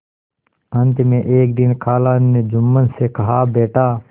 अंत में एक दिन खाला ने जुम्मन से कहाबेटा